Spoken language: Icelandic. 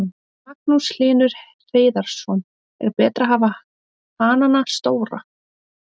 Magnús Hlynur Hreiðarsson: Er betra að hafa hanana stóra?